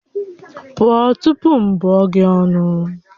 Pụọ tupu m bụọ gị ọnụ!